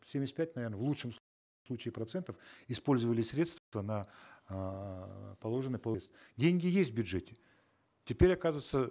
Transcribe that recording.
семьдесят пять наверно в лучшем случае процентов использовали средства на эээ положенные по деньги есть в бюджете теперь оказывается